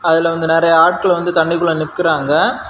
அதுல வந்து நறைய ஆட்கள் வந்து தண்ணிக்குள்ள நிக்கிறாங்க.